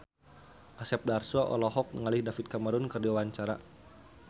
Asep Darso olohok ningali David Cameron keur diwawancara